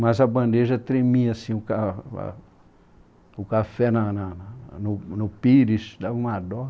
Mas a bandeja tremia, assim, ah o o café na na no pires, dava uma dó.